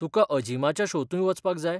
तुका अजीमाच्या शोंतूय वचपाक जाय?